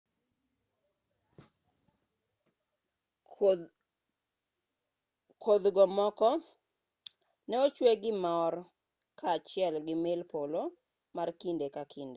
kodhgo moko ne ochwe gi mor kaachiel gi mil polo ma kinde ka kinde